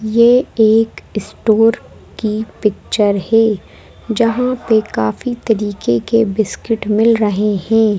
ये एक स्टोर की पिक्चर है जहां पे काफी तरीके के बिस्किट मिल रहे हैं।